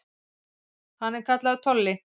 Hann er kallaður Tolli.